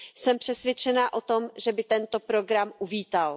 Jsem přesvědčena o tom, že by tento program uvítal.